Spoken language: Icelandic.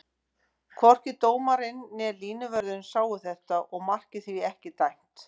Hvorki dómarinn né línuvörðurinn sáu þetta og markið því ekki dæmt.